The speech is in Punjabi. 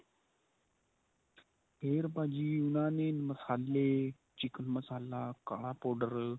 ਫੇਰ ਭਾਜੀ ਉਨ੍ਹਾਂ ਨੇ ਮਸਾਲੇ chicken ਮਸਾਲਾ ਕਾਲਾ powder